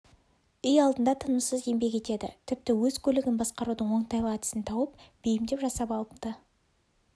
үй алдында тынымсыз еңбек етеді тіпті өз көлігін басқарудың оңтайлы әдісін тауып бейімдеп жасап алыпты